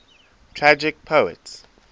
tragic poets